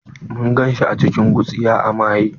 Mun gan shi a cikin gutsiya a maye.